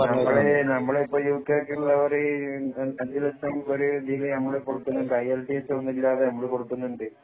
നമ്മളിപ്പോ യുകെ യ്ക്കുള്ള ഒരിതിന് 5 ലക്ഷം നമ്മൾ കൊടുക്കുന്നുണ്ട് ഐഎല്‍ടിഎസ് ഒന്നുമില്ലാതെ നമ്മള്‍ കൊടുക്കുന്നുണ്ട് നിങ്ങള്‍ ഓക്കേ ആണോ